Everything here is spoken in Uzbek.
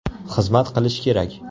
Xizmat qilish kerak.